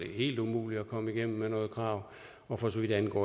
helt umuligt at komme igennem med noget krav og for så vidt angår